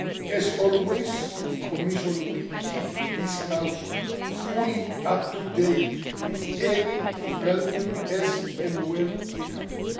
As always, the Commission will keep this House fully up to date with any developments as and when they happen.